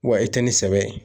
Wa i tɛ ni sɛbɛ ye